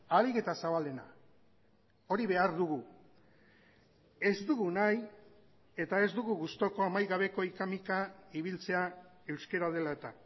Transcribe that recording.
ahalik eta zabalena hori behar dugu ez dugu nahi eta ez dugu gustuko amaigabeko hika mika ibiltzea euskara dela eta